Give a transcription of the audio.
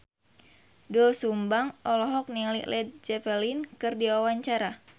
Doel Sumbang olohok ningali Led Zeppelin keur diwawancara